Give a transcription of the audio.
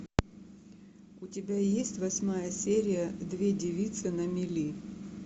у тебя есть восьмая серия две девицы на мели